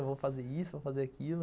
Eu vou fazer isso, vou fazer aquilo.